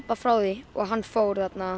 frá því og hann fór